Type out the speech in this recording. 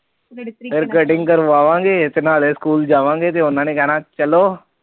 ਜ ਫਿਰ ਕਰਵਾ ਵਾਗੇ ਤੇ ਨਾਲੇ ਸਕੂਲ ਜਾਵਾਗੇ ਫਿਰ ਉਹਨਾਂ ਨੇ ਕਹਿਣਾ ਚਲੋ